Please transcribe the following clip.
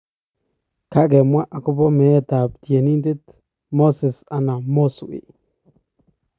Kakemwan agopa meet ap tienditet moses ana Mozwey.